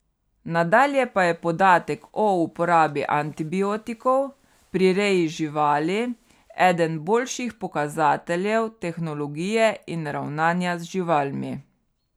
Nadalje pa je podatek o uporabi antibiotikov pri reji živali eden boljših pokazateljev tehnologije in ravnanja z živalmi.